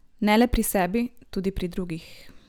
Ne le pri sebi, tudi pri drugih.